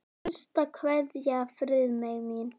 HINSTA KVEÐJA Friðmey mín.